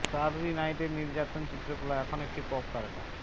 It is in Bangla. স্টাররি নাইট এর নির্যাতন চিত্রকলা এখন একটি পপ তারকা